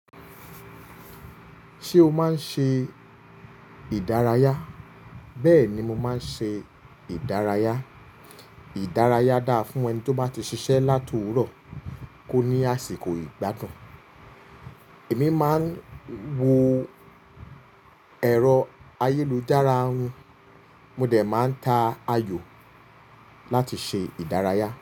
Ṣé o máa ń ṣe ìdárayá? Bẹ́ẹ̀ ni mo máa ń ṣe ìdárayá. Ìdárayá dára fún ẹni tó bá ti ṣiṣẹ́ láti òwúrọ̀ kó ní àsìkò ìgbádùn. Èmi máa ń wo ẹ̀rọ ayélujára, mo dẹ̀ máa ń ta ayò láti ṣe ìdárayá.